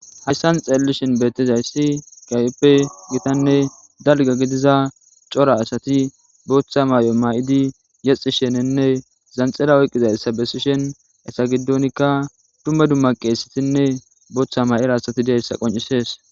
hayssan xeellishin beettizayssi gayeppe gitanne dalga gidiza cora asati booththa maay7o maay7idi yexxi shenenne zanxila oyqizayssa besishen esa giddonikka dumma dumma qeesatinne booththa ma7ira asati deessa qoncisees